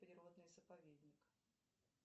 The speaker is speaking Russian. природный заповедник